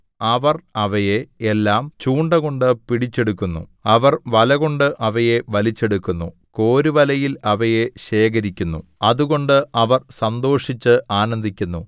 അവർ അവയെ എല്ലാം ചൂണ്ട കൊണ്ട് പിടിച്ചെടുക്കുന്നു അവർ വലകൊണ്ട് അവയെ വലിച്ചെടുക്കുന്നു കോരുവലയിൽ അവയെ ശേഖരിക്കുന്നു അതുകൊണ്ട് അവർ സന്തോഷിച്ച് ആനന്ദിക്കുന്നു